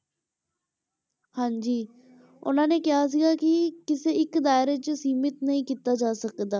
ਹਾਂਜੀ ਉਹਨਾਂ ਨੇ ਕਿਹਾ ਸੀਗਾ ਕਿ ਕਿਸੇ ਇੱਕ ਦਾਇਰੇ ਵਿੱਚ ਸੀਮਤ ਨਹੀਂ ਕੀਤਾ ਜਾ ਸਕਦਾ,